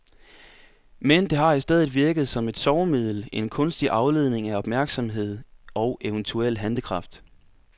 Men det har i stedet virket som et sovemiddel, en kunstig afledning af opmærksomhed og eventuel handlekraft.